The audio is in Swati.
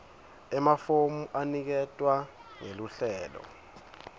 emafomu aniketwa ngeluhlelo